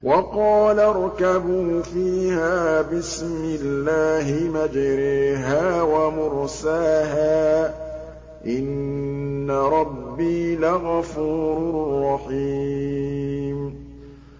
۞ وَقَالَ ارْكَبُوا فِيهَا بِسْمِ اللَّهِ مَجْرَاهَا وَمُرْسَاهَا ۚ إِنَّ رَبِّي لَغَفُورٌ رَّحِيمٌ